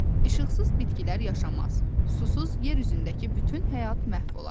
İşıqsız bitkilər yaşamaz, susuz yer üzündəki bütün həyat məhv olar.